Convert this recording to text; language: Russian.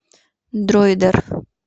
дройдер